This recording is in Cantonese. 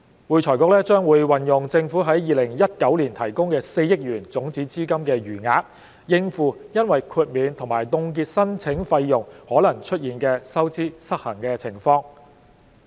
會財局將運用政府於2019年提供的4億元種子資金的餘額，應付因豁免及凍結申請費用可能出現的收支失衡情況。